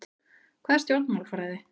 Hvað er stjórnmálafræði?